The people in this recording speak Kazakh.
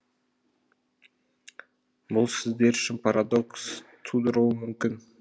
бұл сіздер үшін парадокс тудыруы мүмкін